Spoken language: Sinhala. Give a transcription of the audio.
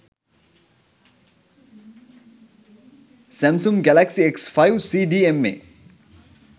samsung galaxy s5 cdma